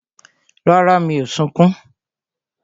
Rárá, mi ò sunkún